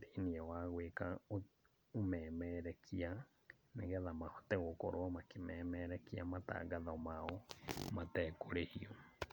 thĩiniĩ wa gwĩka ũmemerekia, nĩgetha mahote gũkorwo makĩmemerekia matangatho mao matekũrĩhio.